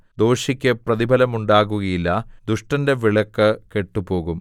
ദോഷിക്ക് പ്രതിഫലമുണ്ടാകുകയില്ല ദുഷ്ടന്റെ വിളക്ക് കെട്ടുപോകും